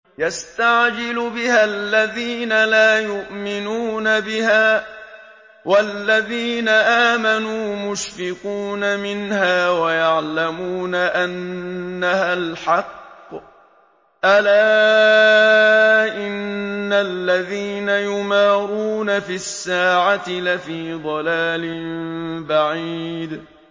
يَسْتَعْجِلُ بِهَا الَّذِينَ لَا يُؤْمِنُونَ بِهَا ۖ وَالَّذِينَ آمَنُوا مُشْفِقُونَ مِنْهَا وَيَعْلَمُونَ أَنَّهَا الْحَقُّ ۗ أَلَا إِنَّ الَّذِينَ يُمَارُونَ فِي السَّاعَةِ لَفِي ضَلَالٍ بَعِيدٍ